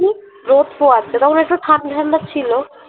রোদ পোয়াচ্ছিল তখন একটু ঠান্ডা ঠান্ডা ছিল